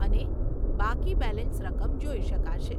અને બાકી બેલેન્સ રકમ જોઈ શકાશે.